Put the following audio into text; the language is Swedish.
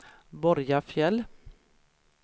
Borgafjäll